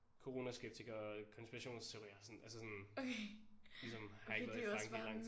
Coronaskeptiker konspirationsteorier sådan altså sådan ligesom har ikke været i Frankrig i langt